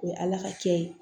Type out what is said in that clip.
O ye ala ka kɛ ye